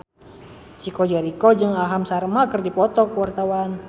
Chico Jericho jeung Aham Sharma keur dipoto ku wartawan